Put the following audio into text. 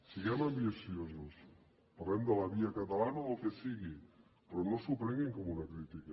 siguem ambiciosos parlem de la via catalana o del que sigui però no s’ho prenguin com una crítica